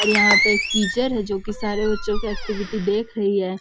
और यहाँ पे एक टीचर है जो की सारे बच्चों की एक्टिविटी देख रही है।